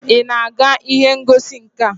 Ị na-aga ihe ngosi nka?